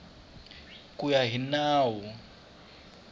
ku ya hi nawu wun